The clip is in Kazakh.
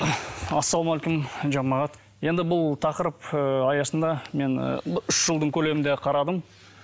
ассалаумағалейкум жамағат енді бұл тақырып ыыы аясында мен ы үш жылдың көлемінде қарадым